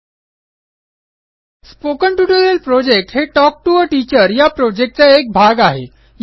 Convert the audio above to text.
spoken tutorial project हे talk to teacher या प्रॉजेक्टचा एक भाग आहे